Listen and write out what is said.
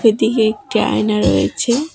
ওদিকে একটি আয়না রয়েছে।